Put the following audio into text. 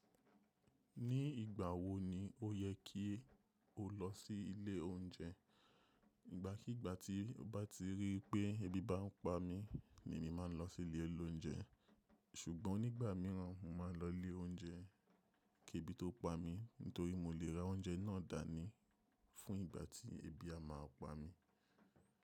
Ní ìgbà wo ni o yẹ kí o lọ sí ilé oúnjẹ? Ìgbàkígbà tí mo bá ti rí pé ebi bá ń pa mí ni màá lọ sí ilé olóúnjẹ, ṣùgbọ́n nígbà míràn mo máa ń lọ ilé oúnjẹ kí ebi tó pa mí nítorí mo lè ra oúnjẹ náà dání fún ìgbà tí ebi a máa pa mí.